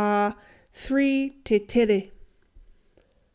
ā 3 te tere